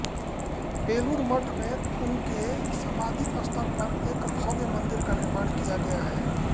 बेलूर मठ में उनके समाधि स्थल पर एक भव्य मंदिर का निर्माण किया गया है